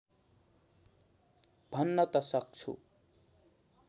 भन्न त सक्छु